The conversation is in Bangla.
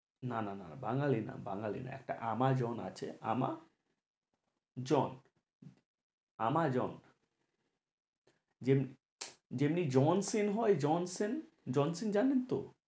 না না না বাঙ্গালী না বাঙ্গালী না, একটা আমাজন আছে আমা জন আমাজন যেম~ যেমনি জনশীন হয় জনশীন জনশীন জানেন তো?